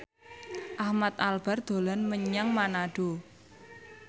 Ahmad Albar dolan menyang Manado